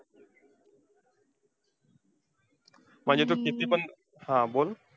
म्हणजे तू कितीपण हा बोल.